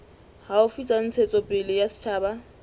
haufi tsa ntshetsopele ya setjhaba